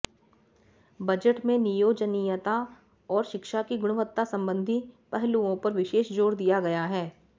budget में नियोजनीयता और शिक्षा की गुणवत्ता संबंधी पहलुओं पर विशेष जोर दिया गया है